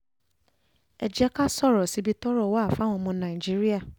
ẹ jẹ́ ká sọ̀rọ̀ síbi tọ́rọ̀ wà fáwọn ọmọ nàìjíríà